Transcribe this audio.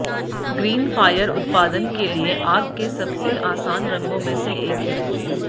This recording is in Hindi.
ग्रीन फायर उत्पादन के लिए आग के सबसे आसान रंगों में से एक है